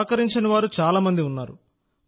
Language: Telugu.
సహకరించని వారు చాలా మంది ఉన్నారు